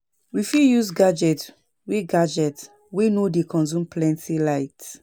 We fit use gadget wey gadget wey no dey consume plenty light